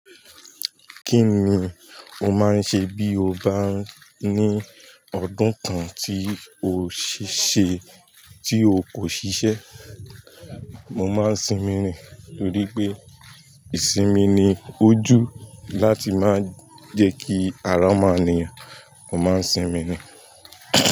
Kí ni o máa ń ṣe bí o bá ní ọdún kan tí o sì ṣe tí o kò ṣiṣẹ́? Mo máa ń sinmi ni, torí pé ìsinmi ni ojú láti máa jẹ́ kí ara máa nìyàn. Mo máa ń sinmi ni.